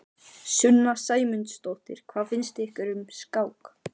Sunna Sæmundsdóttir: Hvað finnst ykkur um skák?